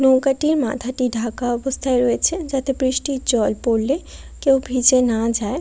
নৌকাটির মাথাটি ঢাকা অবস্থায় রয়েছে যাতে বৃষ্টির জল পড়লে কেউ ভিজে না যায়।